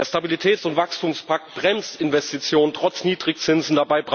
Der Stabilitäts von Wachstumspakt bremst Investitionen trotz Niedrigzinsen.